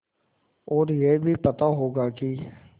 और यह भी पता होगा कि